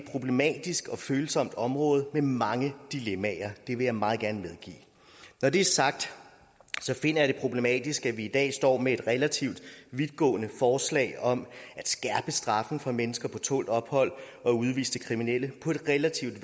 problematisk og følsomt område med mange dilemmaer det vil jeg meget gerne medgive når det er sagt finder jeg det problematisk at vi i dag står med et relativt vidtgående forslag om at skærpe straffen for mennesker på tålt ophold og udviste kriminelle på et relativt